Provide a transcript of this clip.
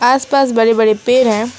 आस पास बड़े बड़े पेड़ हैं।